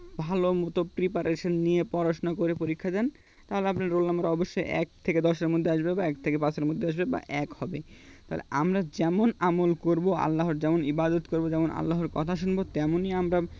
ভালো মতো preparation নিয়ে পড়াশোনা করে পরীক্ষা দেন তাহলে আপনার roll number অবশ্যই এক থেকে দশ এর মধ্যে আসবে বা এক থেকে পাঁচের মধ্যে আসবে বা এক হবে তাহলে আমরা যেমন আমল করব আল্লাহর যেমন ইবাদত করব যেমন আল্লাহর কথা শুনব তেমনি আমরা